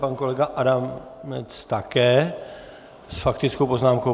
Pan kolega Adamec také s faktickou poznámkou.